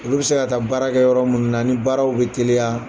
Olu bɛ se ka taa baara kɛ yɔrɔ minnu na ni baaraw bɛ teliya